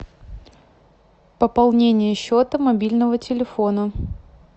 пополнение счета мобильного телефона